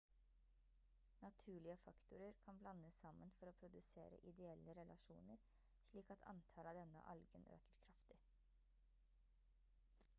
naturlige faktorer kan blandes sammen for å produsere ideelle relasjoner slik at antallet av denne algen øker kraftig